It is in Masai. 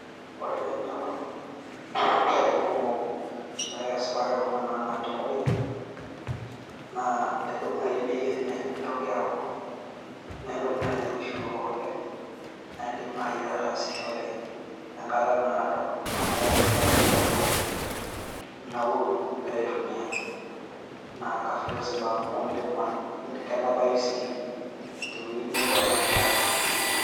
Ore pee inoyorr atipika sprayas ampaka Kuna naanapi tengoriong' naa edou naii Bei enye neitoki aaku Mee entoki naii nairoshi oleng' naa iidim naii ataasishore enkata naado amu keeku naa eitu ialnauru egira aitumiya. Naa kaflexible amu kenapayu naa tewueji nebo ambaka ae.